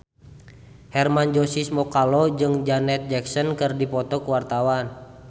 Hermann Josis Mokalu jeung Janet Jackson keur dipoto ku wartawan